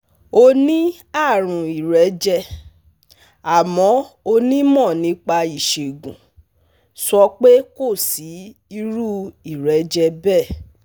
ó ní àrùn ìrẹ́jẹ, àmọ́ onímọ̀ nípa ìṣègùn sọ pé kò sí irú ìrẹ́jẹ bẹ́ẹ̀